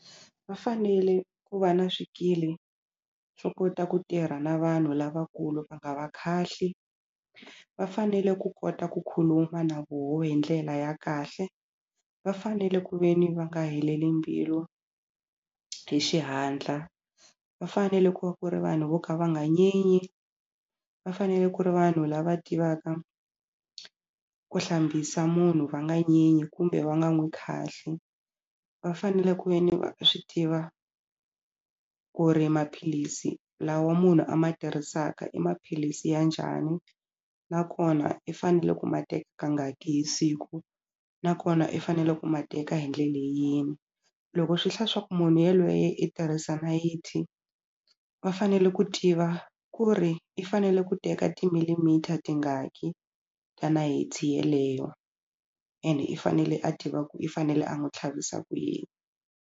Va fanele ku va na swikili swo kota ku tirha na vanhu lavakulu va nga va khahli va fanele ku kota ku khuluma na voho hi ndlela ya kahle va fanele ku ve ni va nga heleli mbilu hi xihatla, va fanele ku va ku ri vanhu vo ka va nga nyenyi va fanele ku ri vanhu lava tivaka ku hlambisa munhu va nga nyenyi kumbe va nga n'wi khahli va fanele ku ve ni va swi tiva ku ri maphilisi lawa munhu a ma tirhisaka i maphilisi ya njhani nakona i fanele ku ma kangaki hi siku nakona i fanele ku ma teka hi ndlele yini loko swi hla swa ku munhu yelweye i tirhisa nayiti va fanele ku tiva ku ri i fanele ku teka ti-millimeter tingaki ta nayiti yeleyo ene i fanele a tiva ku i fanele a n'wi tlhavisa ku yini.